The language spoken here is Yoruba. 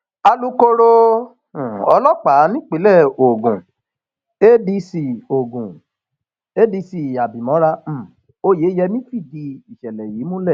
alūkkóró um ọlọpàá nípìnlẹ ogun adc ogun adc abimora um oyeyemí fìdí ìṣẹlẹ yìí múlẹ